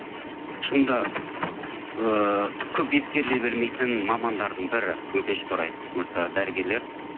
шынында ыыы көп ескеріле бермейтін мамандардың бірі өкінішке орай осы дәрігерлер